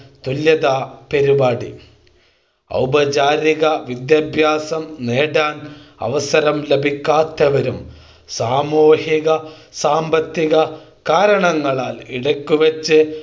തുല്യതാ പരിപാടി ഔപചാരിക വിദ്യാഭ്യാസം നേടാൻ അവസരം ലഭിക്കാത്തവരും സാമൂഹിക സാമ്പത്തിക കാരണങ്ങളാൽ ഇടയ്ക്ക് വച്ച്